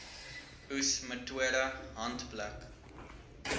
oes metode handpluk